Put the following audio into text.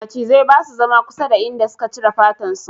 Macizai ba su zama kusa da inda suka cire fatan su